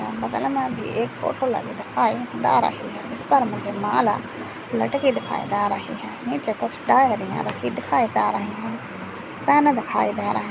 बगल मे भी एक फोटो लगी दिखाई दे रही है जिसपर मुझे माला लटकी दिखाई दे रही है नीचे कुछ डाइरीया रखी दिखाई दे रही है पेन दिखाई दे रहा है।